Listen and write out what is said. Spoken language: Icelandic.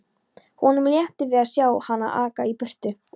Honum létti við að sjá hana aka í burtu.